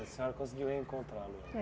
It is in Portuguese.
A senhora conseguiu reencontrá-lo É